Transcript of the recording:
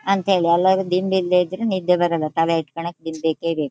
ಅಂತ ಹೇಳಿ ಅಲ್ಲಾ ಅಂದ್ರೆ ದಿಂಬ್ ಇಲ್ದೆ ಇದ್ರೆ ನಿದ್ದೆ ಬರಲ್ಲಾ ತಲೆ ಕೆಳಗ್ ದಿಂಬ್ ಬೇಕೇ ಬೇಕು.